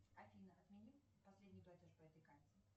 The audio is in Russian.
афина отмени последний платеж по этой карте